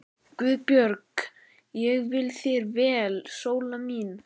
GUÐBJÖRG: Ég vil þér vel, Sóla mín.